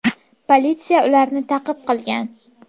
Politsiya ularni ta’qib qilgan.